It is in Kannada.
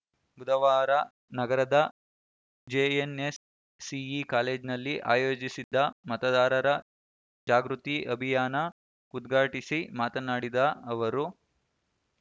ಬುಧವಾರ ನಗರದ ಜೆಎನ್‌ಎನ್‌ಸಿಇ ಕಾಲೇಜ್ ನಲ್ಲಿ ಆಯೋಜಿಸಿದ್ದ ಮತದಾರರ ಜಾಗೃತಿ ಅಭಿಯಾನ ಉದ್ಘಾಟಿಸಿ ಮಾತನಾಡಿದ ಅವರು